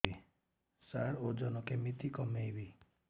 ସାର ଓଜନ କେମିତି କମେଇବି